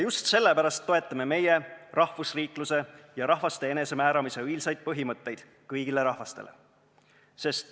Just sellepärast toetame meie rahvusriikluse ja rahvaste enesemääramise õilsaid põhimõtteid kõigile rahvastele.